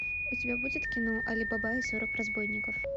у тебя будет кино али баба и сорок разбойников